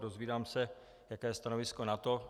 Dozvídám se, jaké je stanovisko NATO.